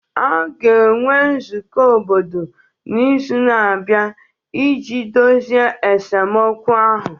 A ga-enwe nzukọ obodo n'izu na-abịa iji dozie esemokwu ahụ